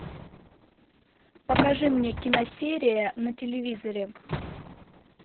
покажи мне киносерия на телевизоре